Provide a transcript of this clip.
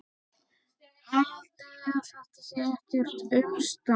Haldiði að þetta sé ekkert umstang?